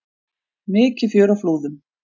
Mikið fjör á Flúðum